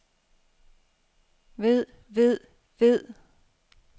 ved ved ved